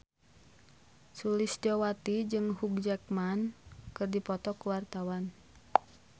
Sulistyowati jeung Hugh Jackman keur dipoto ku wartawan